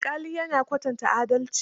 Alƙali ya na kwatanta adalci.